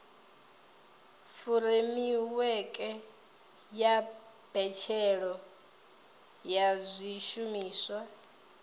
furemiweke ya mbetshelwa ya zwishumiswa